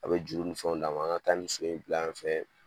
A bi juru ni fɛnw d'an ma, an ga taa nin so in bila yan fɛ